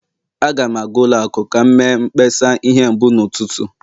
Aga m aga ụlọ akụ ka m mee mkpesa ihe mbụ n'ụtụtụ